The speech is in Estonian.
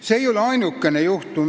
Need ei ole ainukesed näited.